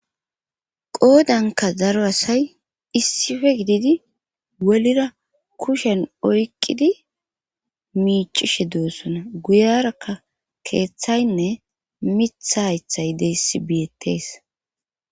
qoodanka daro asay issipe gididi wolira kushen oyqidi miicishe doossona guyarakka keeththaynne mitha haythay deessi biyettees